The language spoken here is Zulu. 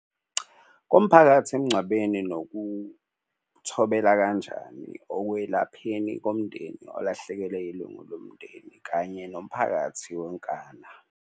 Komphakathi emngcwabeni nokuthobela kanjani okwelapheni komndeni olahlekelwe ilungu lomndeni kanye nomphakathi wonkana.